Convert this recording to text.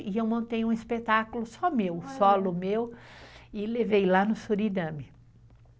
E eu montei um espetáculo só meu, solo meu, e levei lá no Suriname.